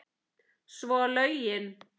Svo lögin.